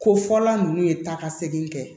Ko fɔla ninnu ye taamasegen kɛ